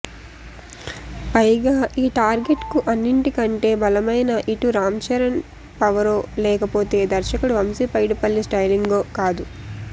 పైగా ఈ టార్గెట్కు అన్నింటికంటే బలమైనా ఇటు రామ్చరణ్ పవరో లేకపోతే దర్శకుడు వంశీ పైడిపల్లి స్టయిలింగో కాదు